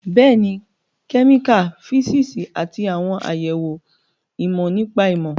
Bẹ́ẹ̀ni, kẹ́míkà, físíìsì, àti àwọn àyẹ̀wò ìmọ̀ nípa ìmọ̀